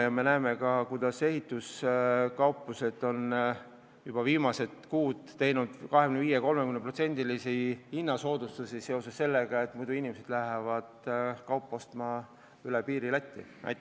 Me ju näeme ka, et ehituskauplused on viimastel kuudel teinud 25–30%-lisi hinnasoodustusi, sest muidu inimesed lähevad Lätti seda kaupa ostma.